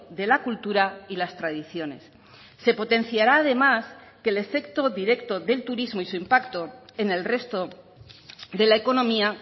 de la cultura y las tradiciones se potenciara además que el efecto directo del turismo y su impacto en el resto de la economía